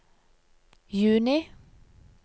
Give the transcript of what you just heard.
juni